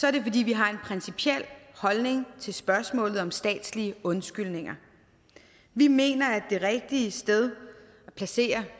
er det fordi vi har en principiel holdning til spørgsmålet om statslige undskyldninger vi mener at det rigtige sted at placere